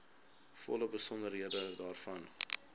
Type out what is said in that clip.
volle besonderhede daarvan